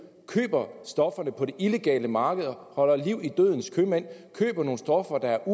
køber stofferne på det illegale marked og holder liv i dødens købmænd de køber nogle stoffer der er